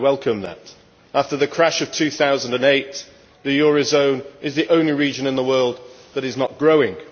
I welcome that. After the crash of 2008, the eurozone is the only region in the world that is not growing.